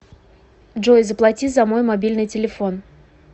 джой заплати за мой мобильный телефон